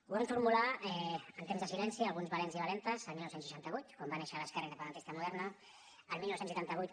ho van formular en temps de silenci alguns valents i valentes el dinou seixanta vuit quan va néixer l’esquerra independentista moderna el dinou seixanta vuit